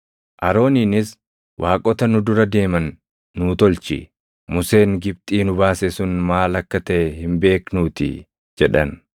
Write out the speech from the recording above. Arooniinis, ‘Waaqota nu dura deeman nuu tolchi; Museen Gibxii nu baase sun maal akka taʼe hin beeknuutii!’ + 7:40 \+xt Bau 32:1\+xt* jedhan.